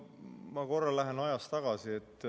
Ma korra lähen ajas tagasi.